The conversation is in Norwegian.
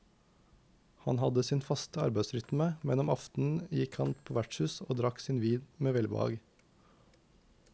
Han hadde sin faste arbeidsrytme, men om aftenen gikk han på vertshus og drakk sin vin med velbehag.